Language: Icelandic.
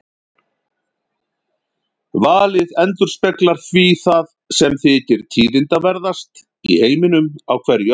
Valið endurspeglar því það sem þykir tíðindaverðast í heiminum á hverju ári.